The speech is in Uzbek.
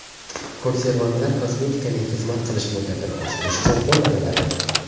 Konservantlar kosmetikaning xizmat qilish muddatini oshirish uchun qo‘llaniladi.